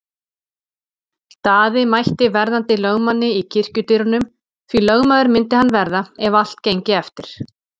Daði mætti verðandi lögmanni í kirkjudyrunum, því lögmaður myndi hann verða ef allt gengi eftir.